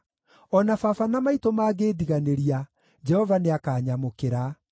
O na baba na maitũ mangĩndiganĩria, Jehova nĩakanyamũkĩra.